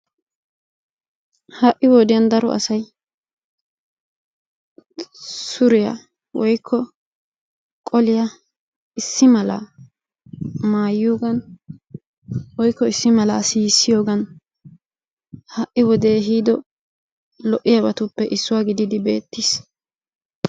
Ha'i wodiyan daro asay suriya woykko qoliya issi mala maayiyoogan woykko issi mala siissiyogan ha'i wodee ehiido lo'iyabatuppe issuwa gididi beettiis.